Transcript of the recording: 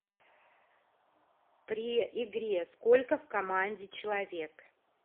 при игре сколько в команде человек